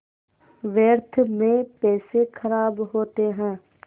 व्यर्थ में पैसे ख़राब होते हैं